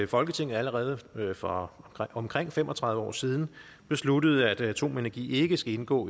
folketinget allerede for omkring fem og tredive år siden besluttede at atomenergi ikke skal indgå